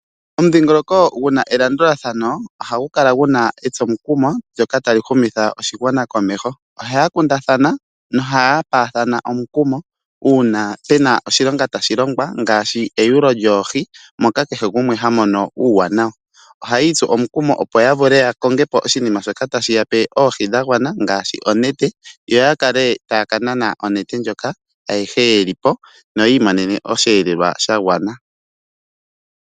Omudhingoloko guna elandulathano ohagu kala guna etsomukumo ndjoka tali humitha oshigwana komeho ohaya kundathana nohaya paathana omukumo uuna pena oshilonga tashi longwa ngaashi eyulo lyoohi moka kehe gumwe hamono uuwanawa .ohayi itsu omukumo opo yavule ya kongepo oshinima shoka tashiyape oohi dhagwana ngaashi onete yo yakale taya kanana onete ayehe yelipo yo yi imonene osheelelwa shagwana.